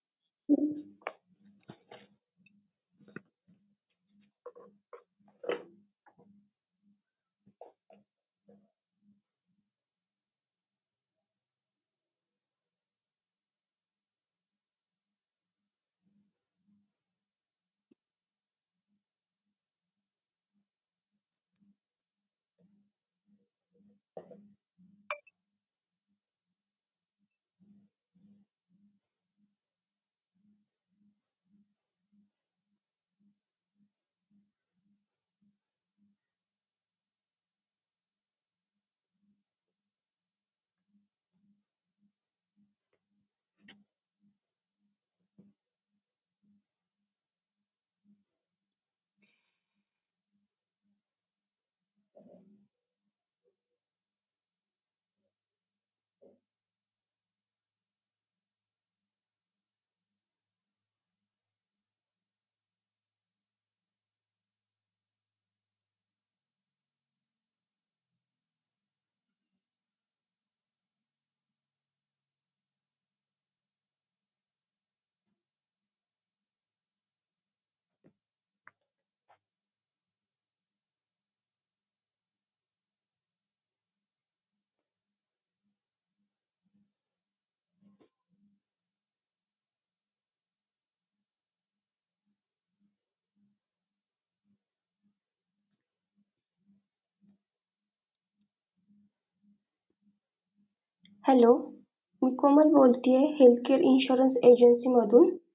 hello मी कोमल बोलती आहे health care insurance agency मधून.